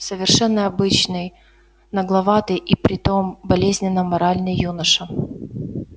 совершенно обычный нагловатый и при том болезненно моральный юноша